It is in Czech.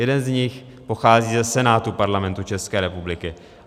Jeden z nich pochází ze Senátu Parlamentu České republiky.